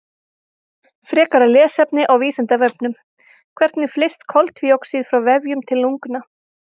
Frekara lesefni á Vísindavefnum: Hvernig flyst koltvíoxíð frá vefjum til lungna?